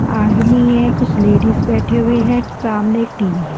आदमी है कुछ लेडीज बैठे हुए हैं सामने एक टी_ वी_ है।